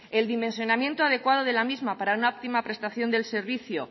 el dimensionamiento adecuado de la misma para una óptima prestación de la misma